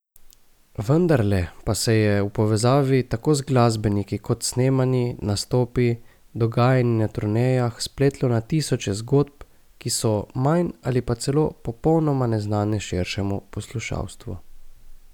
Vendarle pa se je v povezavi tako z glasbeniki kot snemanji, nastopi, dogajanji na turnejah, spletlo na tisoče zgodb, ki so manj ali pa celo popolnoma neznane širšemu poslušalstvu.